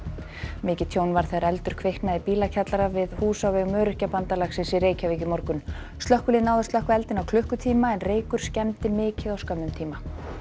mikið tjón varð þegar eldur kviknaði í bílakjallara við hús á vegum Öryrkjabandalagsins í Reykjavík í morgun slökkvilið náði að slökkva eldinn á klukkutíma en reykur skemmdi mikið á skömmum tíma